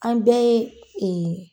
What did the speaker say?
An bɛɛ ye